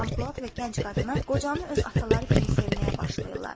Canpolad və gənc qadını qocanı öz ataları kimi sevməyə başlayırlar.